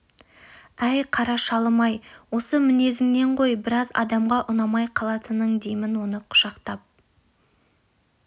әй қара шалым-ай осы мінезіңнен ғой біраз адамға ұнамай қалатының деймін оны құшақтап